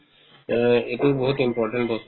অ, এইটো বহুত important বস্তু